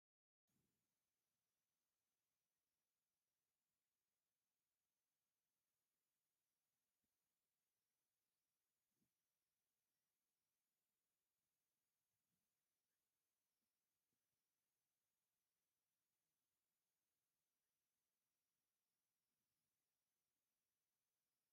ብተለምዶ "ትግራይ ሽሩባ" ተባሂሉ ዝፍለጥ ባህላዊ ናይ ኢትዮጵያ ወይ ኤርትራዊ ቅዲ ጸጉሪ ርእሲ ዘርኢ እዩ። እቲ ጸጉሪ ብዘይ ቱርባን ንድሕሪት ተኣሲሩ ኣሎ። እንታይ ዓይነት ርእሰ ምትእምማን ወይ ባህላዊ ትምክሕቲ እዩ ዘመሓላልፍ?